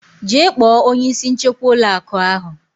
Jee kpọọ onye isi nchekwa ụlọ akụ ahụ.